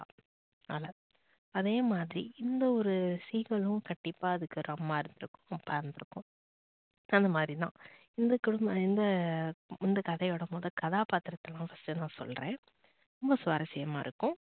அதே மாதிரி இந்த ஒரு seegal உம் கண்டிப்பா அதுக்கு ஒரு அம்மா இருந்து இருக்கும், பறந்து இருக்கும் so அந்த மாரி தான் இந்த குடும்பம் இந்த கதையோட முதல கதாபாத்திரம்லாம் first நான் சொல்லுறன் ரொம்ப சுவாரசியமா இருக்கும்